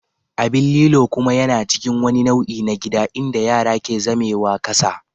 Abin lilo kuma yana cikin wani nau'i na gida inda yara ke zamewa ƙasa.